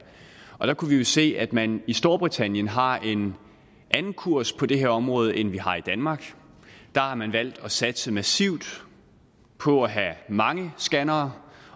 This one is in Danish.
og der kunne vi jo se at man i storbritannien har en anden kurs på det her område end vi har i danmark der har man valgt at satse massivt på at have mange scannere